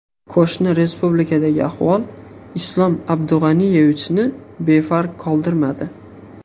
Qo‘shni respublikadagi ahvol Islom Abdug‘aniyevichni befarq qoldirmadi.